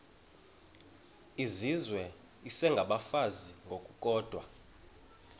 izizwe isengabafazi ngokukodwa